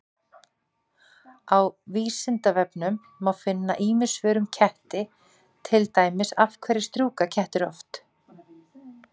Á Vísindavefnum má finna ýmis svör um ketti, til dæmis: Af hverju strjúka kettir oft?